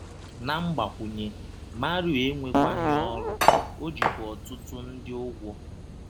Na mgbakwụnye, Mario enwekwaghị ọrụ, ọ jikwa ọtụtụ ndị ụgwọ.